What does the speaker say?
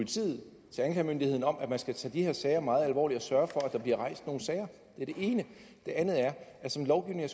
og til anklagemyndigheden om at man skal tage de her sager meget alvorligt og sørge for at der bliver rejst nogle sager det er det ene det andet er at som lovgivningen